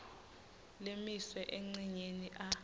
lemiswe encenyeni a